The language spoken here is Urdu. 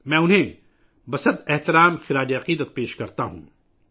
میں ان کو خراج تحسین پیش کرتا ہوں